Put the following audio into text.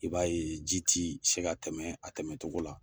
I b'a ye ji ti se ka tɛmɛ a tɛmɛtogo la